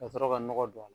Ka sɔrɔ ka nɔgɔ don a la